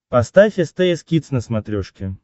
поставь стс кидс на смотрешке